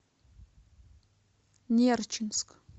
нерчинск